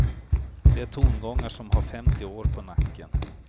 Det är tongångar som har femtio år på nacken.